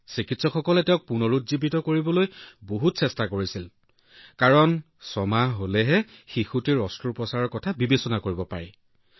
চিকিৎসকসকলে তাইক পুনৰুজ্জীৱিত কৰিবলৈ যথেষ্ট চেষ্টা কৰিছিল যদি শিশুটো ছয়মহীয়া হলহেঁতেন তেন্তে তাইৰ অস্ত্ৰোপচাৰৰ কথা ভাবিব পাৰিলেহেঁতেন